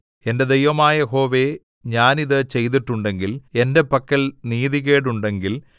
എന്റെ ദൈവമായ യഹോവേ ഞാൻ ഇത് ചെയ്തിട്ടുണ്ടെങ്കിൽ എന്റെ പക്കൽ നീതികേടുണ്ടെങ്കിൽ